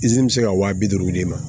bɛ se ka wa bi duuru d'i ma